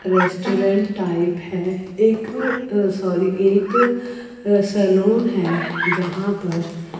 restaurant type है एक sorry एक सैलून है जहां पर--